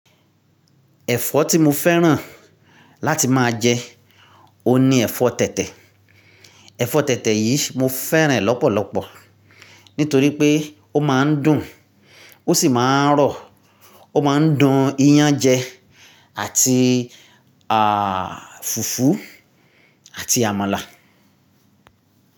Ẹ̀fọ́ tí mo fẹ́ràn láti máa jẹ, oun ní ẹ̀fọ́ọ tẹ̀tẹ̀. Ẹ̀fọ́ọ tẹ́tẹ́ yìí mo fẹ́ràn ẹ̀ lọ́pọ̀lọpọ̀ nítorí pé ó máa ń dùn ó sì máa ń rọ̀, ó máa ń dun iyán án jẹ àti à fùfú àti àmàlà.